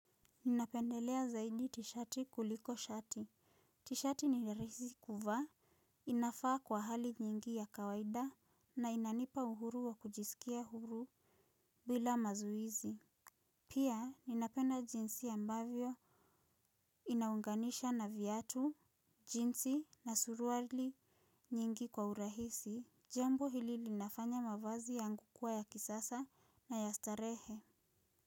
Ninapendelea zaidi tishati kuliko shati. Tishati ni raisi kuvaa. Inafaa kwa hali nyingi ya kawaida na inanipa uhuru wa kujisikia huru bila mazuizi. Pia ninapenda jinsi ambavyo inaunganisha na viatu, jinsi na suruali nyingi kwa urahisi. Jambo hili linafanya mavazi yangu kuwa ya kisasa na ya starehe.